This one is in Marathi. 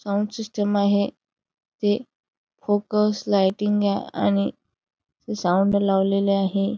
साऊंड सिस्टिम आहे ते फोकस लाइटिंग आणि साऊंड लावलेले आहे.